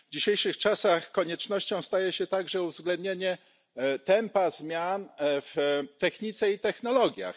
W dzisiejszych czasach koniecznością staje się także uwzględnienie tempa zmian w technice i technologiach.